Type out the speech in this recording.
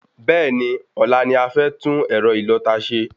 Bẹ́ẹ̀ni, ọ̀la ni a fẹ́ tún ẹ̀rọ ìlọta ṣe